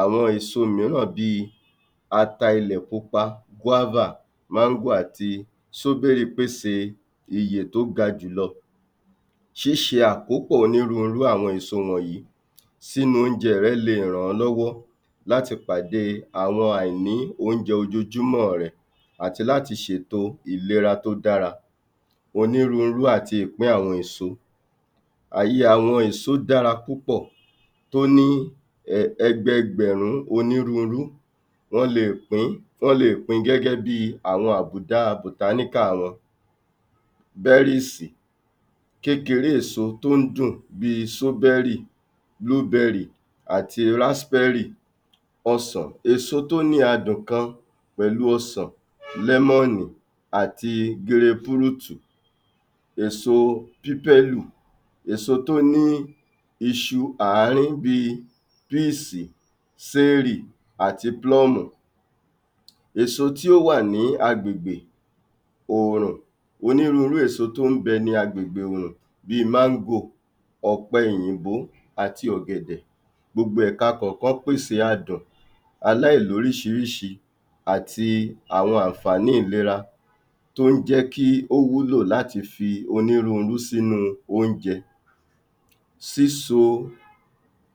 Àwọn èso mìíràn bí i ata ilẹ̀ pupa, guava, mango àti ìyè tó ga jùlọ. ṣíṣe àkópọ̀ onírúurú àwọn èso wọ̀nyí sínú oúnjẹ rẹ lè e ràn ọ́ lọ́wọ́ láti pàdé àwọn àìní oúnjẹ ojoojúmọ́ rẹ àti láti ṣèto ìlera tó dára, onírúurú àti ìpín àwọn èso, um àwọn èso dára púpọ̀ tó ní um ẹgbẹgbẹ̀rún onírúurú wọ́n le è pín wọ́n le è pín gẹ́gẹ́ bí i àwọn àbùdá botanical wọn berries kékeré èso tó ń dùn bí i bluberry àti raspberry. ọsàn, èso tó ní adùn kan pẹ̀lú ọsàn lemon àti grapefruit èso èso tó ní iṣu ààrín bí i peas àti plum. Èso tí ó wà ní agbègbè oòrùn onírúurú èso tó ń bẹ ní agbègbè òrùn bí i mango, ọ̀pẹ òyìnbó àti ọ̀gẹ̀dẹ̀. Gbogbo ẹ̀ká kọ̀ọ̀kan pèsè adùn aláìlóríṣiríṣi àti àwọn àǹfàní ìlera tó ń jẹ́ kí ó wúlò láti fi onírúurú sínú oúnjẹ. Síso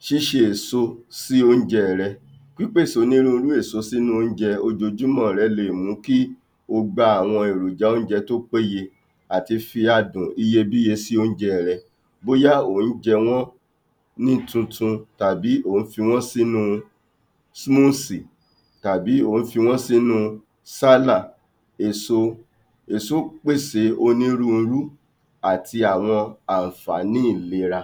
ṣíṣe èso sí oúnjẹ rẹ. Pípèsè onírúurú èso sínú oúnjẹ ojoojúmọ́ rẹ le è mú kí o gba àwọn èròjà oúnjẹ tó péye àti fi adùn iyebíye sínú oúnjẹ rẹ bóyá ò ń jẹ wọ́n ní tuntun tàbí ò ń fi wọ́n sínú tàbí ò ń fi wọ́n sínu èso èso pèsè onírúurú àti àwọn àǹfàní ìlera.